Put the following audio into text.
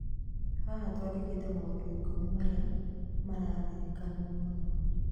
haha twandĩkĩte maũndũ ikumi maria mararirikanwo mũno.